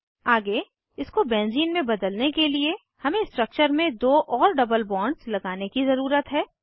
आगे इसको बेंज़ीन में बदलने के लिए हमें स्ट्रक्चर में दो और डबल बॉन्ड्स लगाने की ज़रूरत है